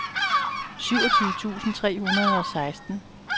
syvogtyve tusind tre hundrede og seksten